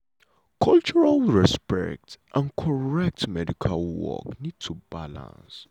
cultural respect and correct medical work need to balance.